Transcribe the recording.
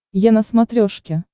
е на смотрешке